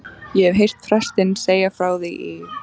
Ég hef heyrt prestinn segja frá því í